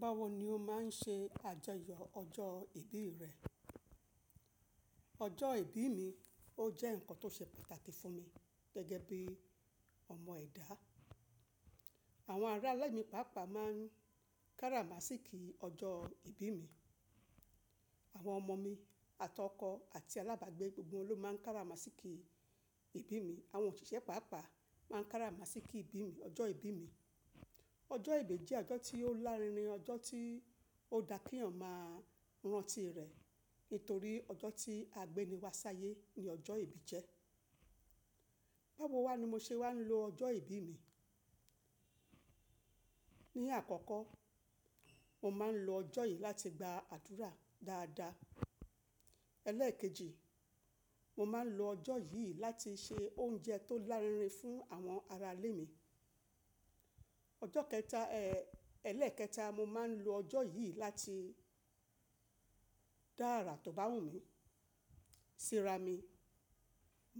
Báwo ni o máa ń ṣe àjọyọ̀ ọjọ́ ìbí rẹ? Ọjọ́ ìbí mi ó jẹ́ nǹkan tó ṣe pàtàkì fún mi gẹ́gẹ́ bí ọmọ ẹ̀dá. Àwọn ará ilé mi pàápàá máa ń kára masíìkì ọjọ́ ìbí mi. Àwọn ọmọ mi àti ọkọ àti alábàgbé gbogbo wọn ló máa ń kára masíìkì ìbí mi. Àwọn òṣìṣẹ́ pàápàá máa ń kára masíìkì ìbí mi, ọjọ́ ìbí mi. Ọjọ́ ìbí jẹ́ ọjọ́ tí ó lárinrin, ọjọ́ tí ó da kí èèyàn máa rántí rẹ̀ nítorí ọjọ́ tí àgbéni wa sáyé ni ọjọ́ ìbí jẹ́. Báwo wa ni mo ṣe wáa ń lo ọjọ́ ìbí mi. Ni àkọ́kọ́, mo máa ń lo ọjọ́ yìí láti gba àdúrà dáadáa. Ẹlẹ́ẹ̀kejì, mo máa ń lo ọjọ́ yìí láti se oúnjẹ tó lárinrin fún àwọn ará ilé mi. Ọjọ́ kẹta, ẹ́, ẹ̀lẹ́ẹ̀kẹta, mo máa ń lo ọjọ́ yìí láti dá àrà tó bá wù mí, síra mi.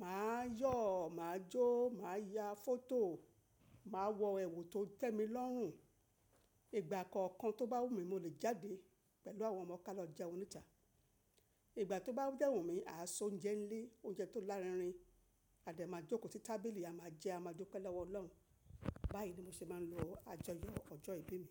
Mà á yọ̀, mà á jó, mà á ya fọ́tò, mà á wọ ẹ̀wù tó tẹ́mi lọ́rùn. Ìgbà kọ̀ọ̀kan tó bá wù mí mo lè jáde pẹ̀lú àwọn ọmọ ká lọ jẹun níta. Ìgbà tó bá dẹ́ wùmí, àá se oúnjẹ nílé, oúnjẹ tó lárinrin. A dẹ̀ máa jókòó sí tábìlì, a máa jẹ, a máa dúpẹ́ lọwọ Ọlọ́run. Báyìí ni mo ṣe máa ń lo àjọyọ̀ ọjọ́ ìbí mi.